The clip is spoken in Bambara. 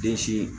Den sin